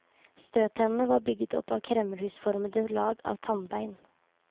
Støttennene var bygget opp av kremmerhusformede lag av tannbein.